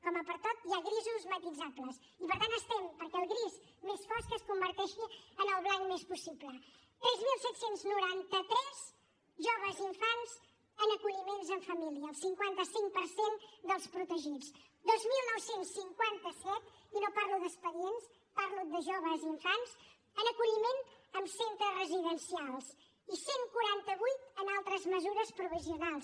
com a pertot hi ha grisos matisables i per tant estem perquè el gris més fosc es converteixi en el blanc més possible tres mil set cents i noranta tres joves i infants en acolliments en família el cinquanta cinc per cent dels protegits dos mil nou cents i cinquanta set i no parlo d’expedients parlo de joves i infants en acolliment en centres residencials i cent i quaranta vuit en altres mesures provisionals